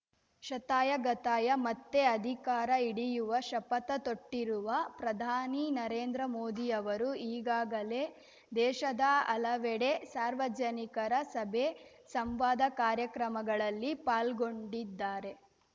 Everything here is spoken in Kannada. ಶತಾಯಗತಾಯ ಮತ್ತೆ ಅಧಿಕಾರ ಹಿಡಿಯುವ ಶಪಥ ತೊಟ್ಟಿರುವ ಪ್ರಧಾನಿ ನರೇಂದ್ರಮೋದಿ ಅವರು ಈಗಾಗಲೇ ದೇಶದ ಹಲವೆಡೆ ಸಾರ್ವಜನಿಕರ ಸಭೆ ಸಂವಾದ ಕಾರ್ಯಕ್ರಮಗಳಲ್ಲಿ ಪಾಲ್ಗೊಂಡಿದ್ದಾರೆ